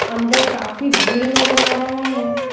अंदर काफी भीड़ नजर आ रहा है।